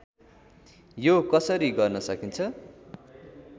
यो कसरी गर्न सकिन्छ